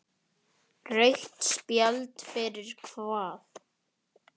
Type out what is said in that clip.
Rautt spjald fyrir hvað?